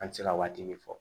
An tɛ se ka waati min fɔ